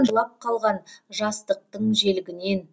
жылап қалған жастықтың желігінен